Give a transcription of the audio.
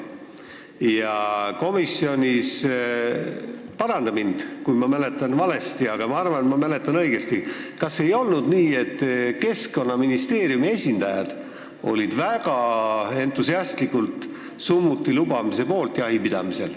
Kas ei olnud nii, et komisjonis – paranda mind, kui ma mäletan valesti, aga ma arvan, et ma mäletan õigesti – olid Keskkonnaministeeriumi esindajad väga entusiastlikult jahipidamisel summuti lubamise poolt?